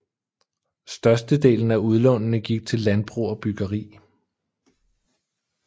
Størstedelen af udlånene gik til landbrug og byggeri